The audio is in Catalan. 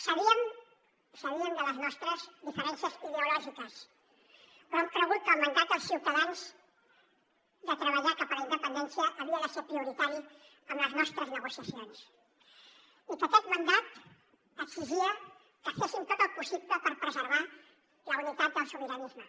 sabíem les nostres diferències ideològiques però hem cregut que el mandat dels ciutadans de treballar cap a la independència havia de ser prioritari en les nostres negociacions i que aquest mandat exigia que féssim tot el possible per preservar la unitat del sobiranisme